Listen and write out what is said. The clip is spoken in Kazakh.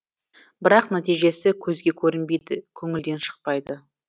бірақ нәтижесі көзге көрінбейді көңілден шықпайды